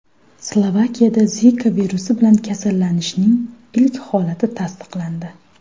Slovakiyada Zika virusi bilan kasallanishning ilk holati tasdiqlandi.